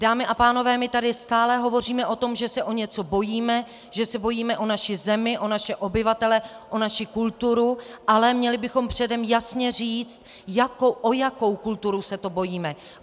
Dámy a pánové, my tady stále hovoříme o tom, že se o něco bojíme, že se bojíme o naši zemi, o naše obyvatele, o naši kulturu, ale měli bychom předem jasně říci, o jakou kulturu se to bojíme.